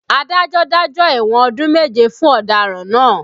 Adájọ́ dájọ́ ẹ̀wọ̀n ọdún méje fún ọ̀daràn náà